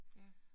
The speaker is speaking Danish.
Ja